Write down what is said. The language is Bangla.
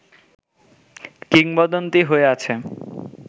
কিংবদন্তি হয়ে আছে